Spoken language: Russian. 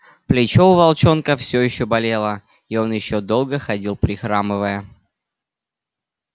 плечо у волчонка всё ещё болело и он ещё долго ходил прихрамывая